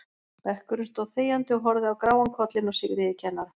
Bekkurinn stóð þegjandi og horfði á gráan kollinn á Sigríði kennara.